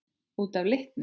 Út af litnum?